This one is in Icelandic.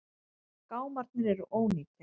Gámarnir eru ónýtir.